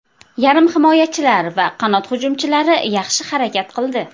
Yarim himoyachilar va qanot hujumchilari yaxshi harakat qildi.